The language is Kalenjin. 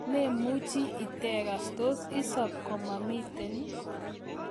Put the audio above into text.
memuchi itegas tos isab komamiten